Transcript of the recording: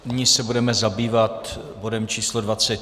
Nyní se budeme zabývat bodem číslo